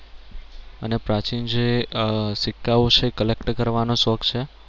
અને પ્રાચીન જે આહ સિક્કાઓ છે collect કરવાનો શોખ છે.